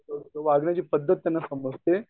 वागण्याची पद्धत त्यांना समजते.